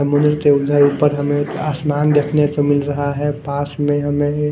पर हमें आसमान देखने को मिल रहा है पास में हमें--